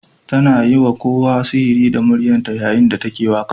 Ta yi wa kowa sihiri da muryarta yayin da take waƙa.